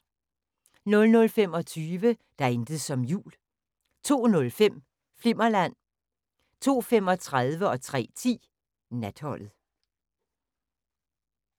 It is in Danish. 00:25: Der er intet som jul 02:05: Flimmerland 02:35: Natholdet 03:10: Natholdet